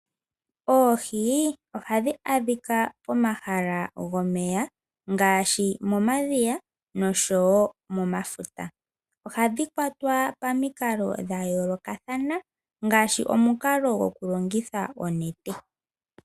Oohi ohadhi adhika pomahala gomeya ngaashi momadhiya noshowo momafuta . Ohadhi kwatwa pamikalo dha yoolokathana ngaashi omukalo gwoku longitha onete